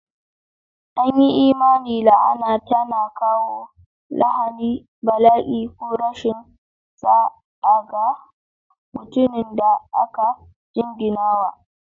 An yi imanin la'ana tana kawo lahani, bala'i, ko rashin sa'a ga mutumin da aka jinginawa.